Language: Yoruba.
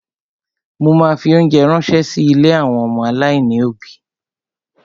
Mo ma fi óńjẹ ránṣẹ́ sí ilé àwọn ọmọ aláìní òbí.